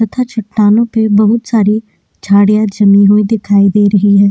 तथा चट्टानों पे बहुत सारि झाड़ियां जमीं हुई दिखाई दे रही है।